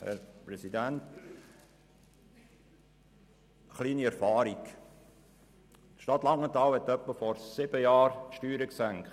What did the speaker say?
Ein kleiner Erfahrungsbericht: Die Stadt Langenthal hat vor rund sieben Jahren die Steuern gesenkt.